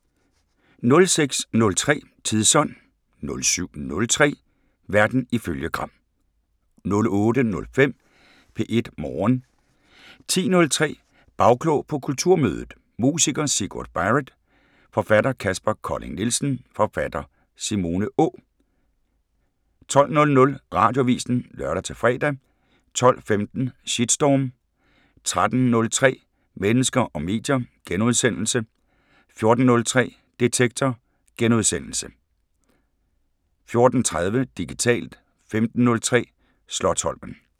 06:03: Tidsånd 07:03: Verden ifølge Gram 08:05: P1 Morgen 10:03: Bagklog på Kulturmødet: musiker Sigurd Barrett, forfatter Kaspar Colling Nielsen, forfatter Simone Å 12:00: Radioavisen (lør-fre) 12:15: Shitstorm 13:03: Mennesker og medier * 14:03: Detektor * 14:30: Digitalt 15:03: Slotsholmen